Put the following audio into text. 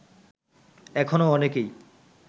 এখনও অনেকেই